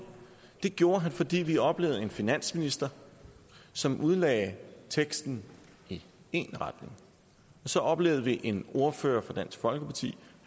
det gjorde han fordi vi oplevede en finansminister som udlagde teksten i én retning så oplevede vi en ordfører fra dansk folkeparti